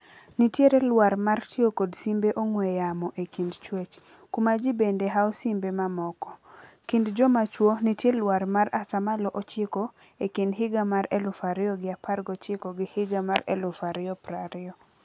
Nitiere luar mar tio kod simbe ong'we yamo e kind chwech. Kuma ji bende hao simbe mamoko. Kind jomachwo nitie luar mar atamalo ochiko ekind higa mar eluf ario gi apar gochiko gi higa mar eluf ario prario.